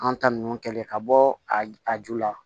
An ta nunnu kɛlen ka bɔ a ju la